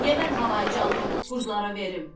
Niyə mən havayı canımı qurdalara verim?